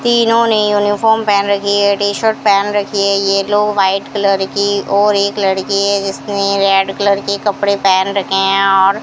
तीनों ने यूनिफार्म पहन रखी है टी-शर्ट पहन रखी है येलो व्हाइट कलर की और एक लड़की है जिसने रेड कलर के कपड़े पहन रखे हैं और --